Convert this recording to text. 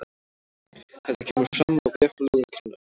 Þetta kemur fram á vef lögreglunnar